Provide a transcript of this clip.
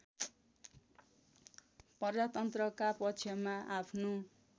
प्रजातन्त्रका पक्षमा आफ्नो